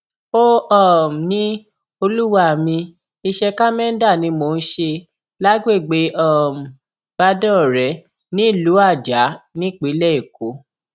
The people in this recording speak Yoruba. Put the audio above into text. ó um ní olúwa mi iṣẹ kámẹńdà ni mò ń ṣe lágbègbè um badoore nílùú ajah nípínlẹ èkó